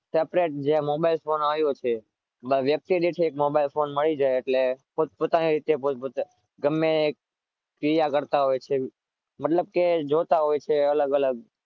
mobile આવ્યો છે બસ એક mobile મળી જાય તો પોટ પોતાની રીતે ગમે ક્રિયા કરતા હોય છે